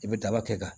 I bɛ daba kɛ ka